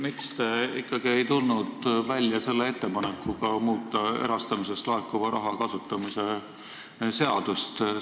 Miks te ikkagi ei tulnud välja ettepanekuga muuta erastamisest laekuva raha kasutamise seadust?